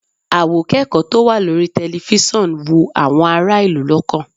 Àwòkẹ́kọ̀ọ́ tó wà lórí tẹlifíṣọ̀n wú àwọn ará ìlú lọ́kàn